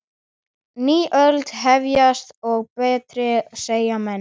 Ný öld að hefjast, og betri, segja menn.